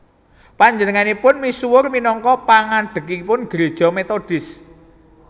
Panjenenganipun misuwur minangka pangadhegipun Gereja Metodis